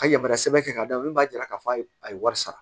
A yamarasɛ ka d'a min b'a jira k'a fɔ a ye wari sara